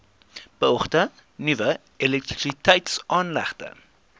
beoogde nuwe elektrisiteitsaanlegte